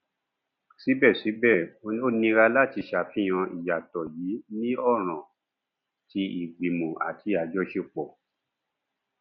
síbẹsíbẹ ó nira láti ṣàfihàn ìyàtọ yìí ní ọràn tí ìgbìmò àti àjọṣepọ